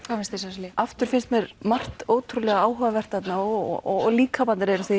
hvað finnst þér aftur finnst mér margt ótrúlega áhugavert þarna og líkamarnir eru